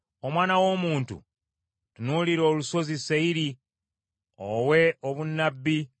“Omwana w’omuntu, tunuulira olusozi Seyiri owe obunnabbi,